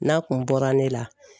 N'a kun bɔra ne la.